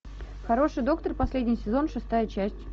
хороший доктор последний сезон шестая часть